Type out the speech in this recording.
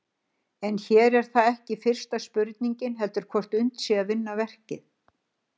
En hér er það ekki fyrsta spurningin heldur hvort unnt sé að vinna verkið.